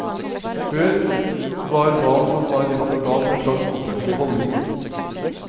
Før var hva som var rett og galt en slags offentlig holdning.